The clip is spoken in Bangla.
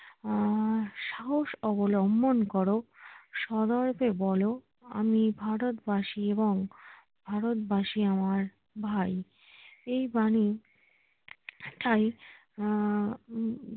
আহ সাহস অবলম্বন করো সদয়কে বলো আমি ভারত বাসি এবং ভারত বাসি আমার ভাই এই বাণীটাই আহ